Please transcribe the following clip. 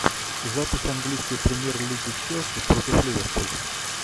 запись английской премьер лиги челси против ливерпуль